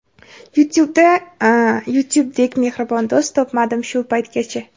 YouTube dek mehribon do‘st topmadim shu paytgacha.